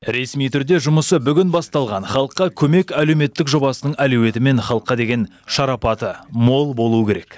ресми түрде жұмысы бүгін басталған халыққа көмек әлеуметтік жобасының әлеуеті мен халыққа деген шарапаты мол болуы керек